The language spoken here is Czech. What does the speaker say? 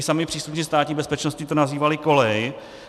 I sami příslušníci Státní bezpečnosti to nazývali Kolej.